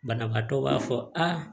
Banabaatɔ b'a fɔ aa